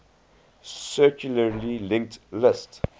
circularly linked list